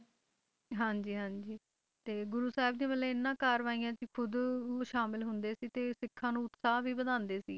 ਹਾਂਜੀ ਹਾਂਜੀ ਤੇ ਗੁਰੂ ਸਾਹਿਬ ਜੀ ਮਤਲਬ ਇਹਨਾਂ ਕਾਰਵਾਈਆਂ 'ਚ ਖੁੱਦ ਸ਼ਾਮਿਲ ਹੁੰਦੇ ਸੀ, ਤੇ ਸਿੱਖਾਂ ਨੂੰ ਉਤਸਾਹ ਵੀ ਵਧਾਉਂਦੇ ਸੀ,